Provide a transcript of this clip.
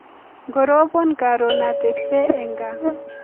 ngoroban karoon atebchee eng kaa